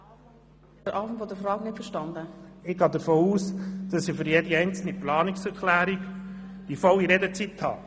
– Frau Grossratspräsidentin, ich gehe davon aus, dass ich für jede Planungserklärung die volle Redezeit habe?